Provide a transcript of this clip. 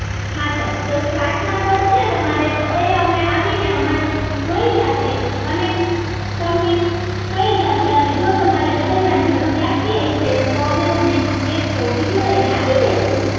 હા સર તો કાચ માં તડ છે તમારે તો એ અમે આવી ને અમે લઈ જાશું અને જો તમારે બદલવા ની જરૂર લાગતી હશે તો અમે તમને ગેસ સ્ટવ બીજો લઈ ને આપી દેશું